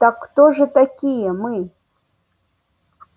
так кто же такие мы